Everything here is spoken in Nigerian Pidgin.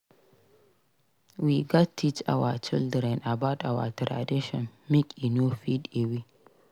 We gats teach our children about our traditions make e no fade away.